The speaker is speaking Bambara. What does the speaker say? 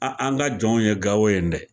An an ga jɔnw ye gawo yen dɛ